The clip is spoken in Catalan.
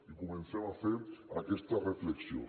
i comencem a fer aquesta reflexió